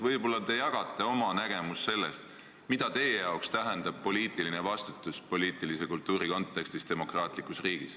Võib-olla te jagate oma nägemust, mida teie arvates tähendab poliitiline vastutus poliitilise kultuuri kontekstis demokraatlikus riigis.